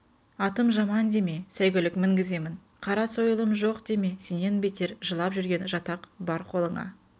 атым жаман деме сәйгүлік мінгіземін қара сойылым жоқ деме сенен бетер жылап жүрген жатақ бар қолыңа